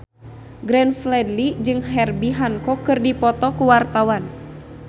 Glenn Fredly jeung Herbie Hancock keur dipoto ku wartawan